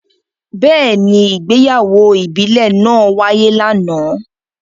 Beeni, ìgbéyàwó ìbílè naa waye lana.